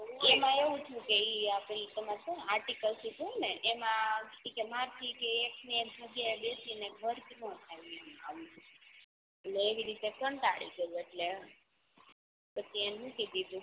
એમાં એવું થયું કે ઇ તમારે સુ એમા article ship કિધુને એમાં મરાથી કે એક ને એક જગ્યાએ બેસીને cost નો થાય એટલે એવી રીતે કંટાડી ગયો એટલે પછી મૂકી દીધું